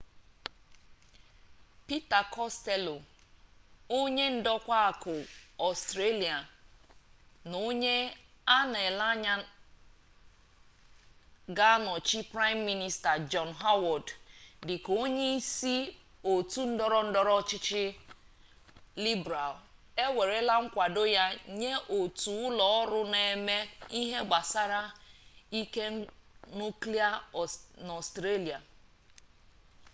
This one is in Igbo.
pita kostello onye ndokwa akụ ọstrelia na onye a na-ele anya ga-anọchi praịm minista jọn howard dịka onye isi otu ndọrọ ndọrọ ọchịchị libral ewerela nkwado ya nye otu ụlọ ọrụ na-eme ihe gbasara ike nuklia n'ọstrelia